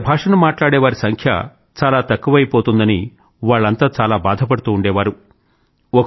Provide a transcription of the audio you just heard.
వీళ్ల భాషను మాట్లాడేవారి సంఖ్య చాలా తక్కువైపోతోందని వాళ్లంతా చాలా బాధపడుతూ ఉండేవారు